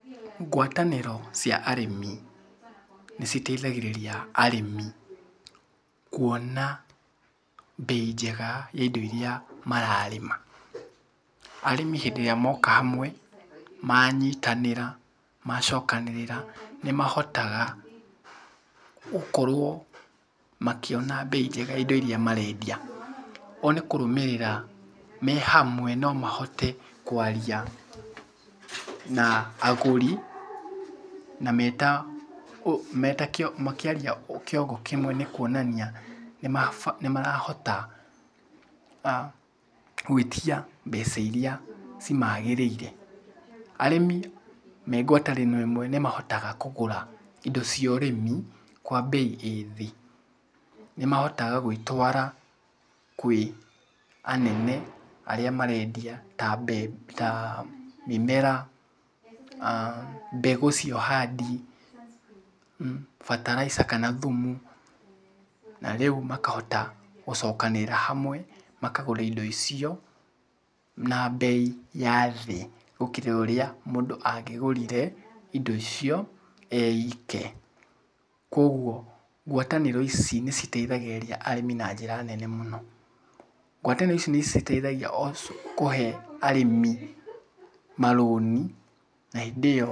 Ngwatanĩro cia arĩmi nĩciteithagĩrĩria arĩmi kuona mbei njega ya indo iria mararĩma. Arĩmi hĩndĩ ĩrĩa moka hamwe, manyitanĩra, macokanĩrĩra, nĩmahotaga gũkorwo makĩona mbei njega ya indo iria marendia. O nĩkũrũmĩrĩra me hamwe no mahote kwaria na agũri na meta meta makĩaria kĩongo kĩmwe nĩkuonania nĩmarahota gwĩtia mbeca iria cimagĩrĩire. Arĩmi me ngwatanĩro ĩmwe nĩmahotaga kũgũra indo cia ũrĩmi kwa mbei ĩ thĩ, nĩmahotaga gwĩtwara kwĩ anene arĩa marendia ta mbe ta mĩmera, mbegũ cia ũhandi, bataraitha kana thumu, na rĩu makahota gũcokanĩrĩra hamwe makagũra indo icio na mbei ya thĩ gũkĩra ũrĩa mũndũ angĩgũrire indo icio e ike, kuoguo ngwatanĩro ici nĩciteithagĩrĩria arĩmi na njĩra nene mũno. Ngwatanĩro nĩciteithagia o kũhe arĩmi marũni na hĩndĩ ĩyo.